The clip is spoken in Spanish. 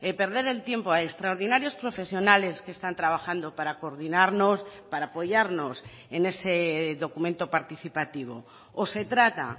perder el tiempo a extraordinarios profesionales que están trabajando para coordinarnos para apoyarnos en ese documento participativo o se trata